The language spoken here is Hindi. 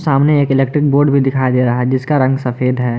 सामने एक इलेक्ट्रिक बोर्ड भी दिखाई दे रहा है जिसका रंग सफेद है।